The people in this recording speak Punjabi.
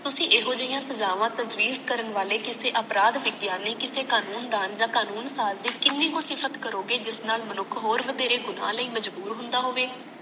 ਤੁਸੀ ਇਹੋਜਿਆਂ ਸਜਾਵਾਂ ਕਰਨ ਵਾਲੇ ਕਿਸੇ ਅਪਰਾਧ ਵਿਗਿਆਨੀ ਕਿਸੇ ਕਾਨੂੰਨ ਦਾਨ ਯਾ ਕਾਨੂੰਨ ਸਾਦ ਦੀ ਕੀਨੀ ਕੁ ਕਰੋਗੇ ਜਿਸ ਨਾਲ ਮਨੁੱਖ ਹੋਰ ਵਥੇਰੇ ਗੁਣਾਂ ਲਈ ਮਜਬੂਰ ਹੁੰਦਾ ਹੋਵੇ